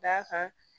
D'a kan